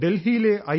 ഡൽഹിയിലെ ഐ